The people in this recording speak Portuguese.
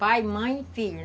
Pai, mãe e filho.